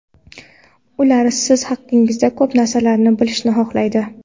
Ular siz haqingizda ko‘p narsalarni bilishni xohlaydi.